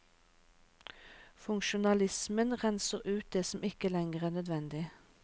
Funksjonalismen renser ut det som ikke lenger er nødvendig.